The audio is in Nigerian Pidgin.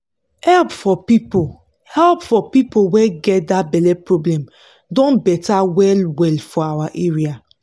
help for people help for people wey get that belle problem don better well well for our area.